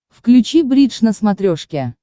включи бридж на смотрешке